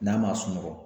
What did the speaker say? N'a ma sunɔgɔ